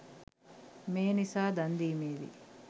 මේ නිසා දන් දීමේදී